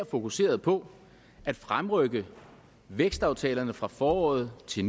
fokusere på at fremrykke vækstaftalerne fra foråret til